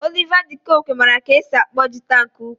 Oliva de koque mara ka esi akpọ jịta nke ukwu.